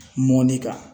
Mɔni kan